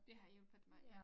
Det har hjælpet mig ja